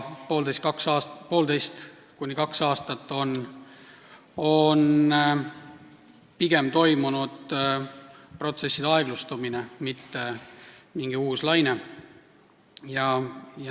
Poolteist kuni kaks aastat on pigem toimunud protsesside aeglustumine, ei ole olnud mitte mingit uut lainet.